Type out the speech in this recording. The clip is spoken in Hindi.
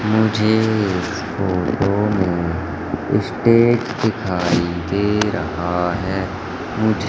मुझे इस फोटो में स्टेज दिखाई दे रहा है मुझे--